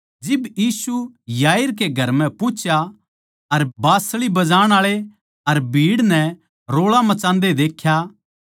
जिब यीशु याईर कै घर म्ह पुँह्चा अर बाँसली बजान आळे अर भीड़ नै रोळा मचांदे देख्या